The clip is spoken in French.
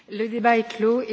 Le débat est clos.